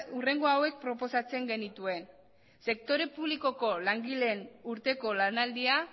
hurrengo hauek proposatzen genituen sektore publikoko langileen urteko lanaldia